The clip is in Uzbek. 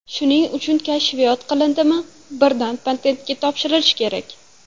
Shuning uchun kashfiyot qilindimi, birdan patentga topshirilishi kerak.